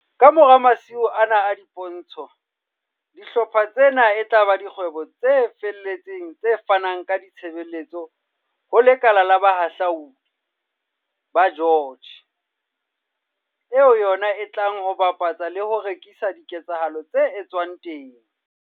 Kamora masiu ana a dipo ntsho, dihlopha tsena e tla ba dikgwebo tse felletseng tse fanang ka ditshebeletso ho le kala la Bohahludi ba George, eo yona e tlang ho bapatsa le ho rekisa diketsahalo tse etswang teng.